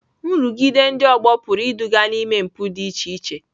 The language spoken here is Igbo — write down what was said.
Nrụgide ndị ọgbọ pụrụ iduga n'ime mpụ dị iche iche.